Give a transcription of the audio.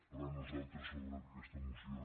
però nosaltres sobre aquesta moció